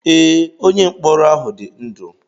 Ee, onye mkpọrọ ahụ dị ndụ.